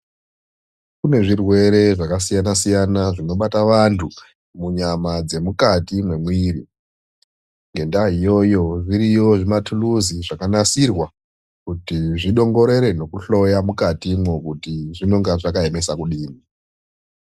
Kune zvirwere zvakasiyana-siyana zvinobata vantu munyama dzemukati mwemwiri ngendaa iyoyo zviriyo zvimathuluzi zvakanasirwa zvidongorere nekuhloya mukatimwo kuti zvinonga zvakemesa kudii.